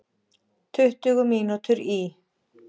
Tuttugu mínútur í